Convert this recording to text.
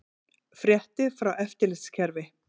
Fréttir frá eftirlitskerfi